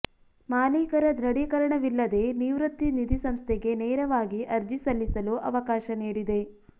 ಮಾಲೀಕರ ದೃಢೀಕರಣವಿಲ್ಲದೇ ನಿವೃತ್ತಿ ನಿಧಿ ಸಂಸ್ಥೆಗೆ ನೇರವಾಗಿ ಅರ್ಜಿ ಸಲ್ಲಿಸಲು ಅವಕಾಶ ನೀಡಿದೆ